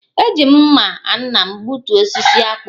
E ji m mma nna m gbutuo osisi akpu